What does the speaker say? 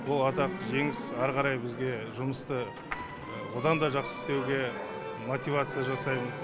ол атақты жеңіс ары қарай бізге жұмысты одан да жақсы істеуге мотивация жасаймыз